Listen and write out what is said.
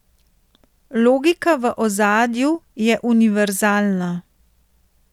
Logika v ozadju je univerzalna.